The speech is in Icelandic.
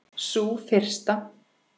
Sú fyrsta?